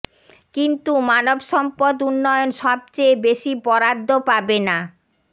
কিন্তু মানবসম্পদ উন্নয়ন সবচেয়ে বেশি বরাদ্দ পাবে না